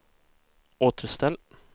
återställ